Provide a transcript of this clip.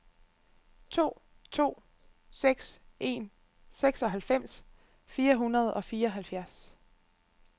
to to seks en seksoghalvfems fire hundrede og fireoghalvfjerds